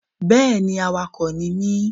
Yes I'm a driver